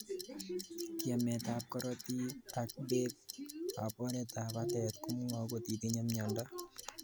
Tiemetab korotik ak beek ab oretab batet komwau kotitinyei myondo